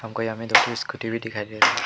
और यहाँ में दो ठो स्कूटी भी दिखाई दे रही --